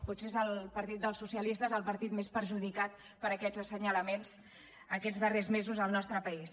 potser és el partit dels socialistes el partit més perjudicat per aquests assenyalaments aquests darrers mesos al nostre país